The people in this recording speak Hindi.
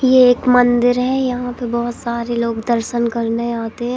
ये एक मंदिर है यहां पे बहुत सारे लोग दर्शन करने आते हैं।